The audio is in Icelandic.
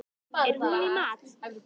Er hún í mat?